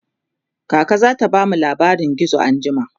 kaka zata bamu labarin gizo anjima